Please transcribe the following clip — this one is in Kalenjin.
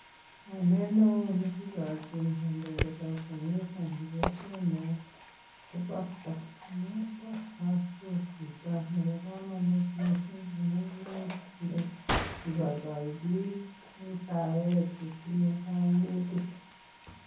Kainet neo ne kigochin kondoindetab kanisa en kokwenyon ko pastor. Amun pastor ko chito nebo komonut mising' amun inendet ko chito ne igoigoi biik en saet che tinye koimutik.